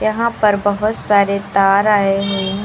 यहां पर बोहोत सारे तार आए हुई --